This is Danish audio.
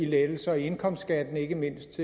lettelser i indkomstskatten ikke mindst